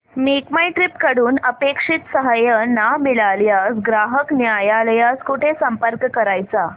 make my trip कडून अपेक्षित सहाय्य न मिळाल्यास ग्राहक न्यायालयास कुठे संपर्क करायचा